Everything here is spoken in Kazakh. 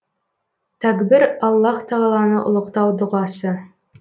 тәкбір аллаһ тағаланы ұлықтау дұғасы